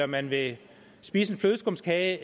man vil spise en flødeskumskage